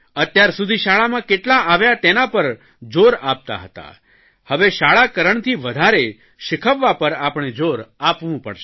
અત્યાર સુધી શાળામાં કેટલા આવ્યા તેના પર જોર આપતા હતા જવે શાળાકરણથી વધારે શીખવવા પર આપણે જોર આપવું પડસે